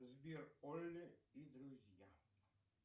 сбер олле и друзья